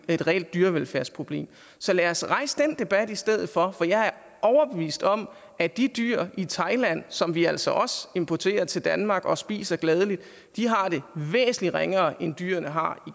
vi et reelt dyrevelfærdsproblem så lad os rejse den debat i stedet for for jeg er overbevist om at de dyr i thailand som vi altså også importerer til danmark og spiser gladeligt har det væsentligt ringere end dyrene har